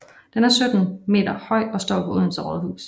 Den er 17 m høj og står på Odense Rådhus